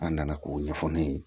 An nana k'o ɲɛfɔ ne ye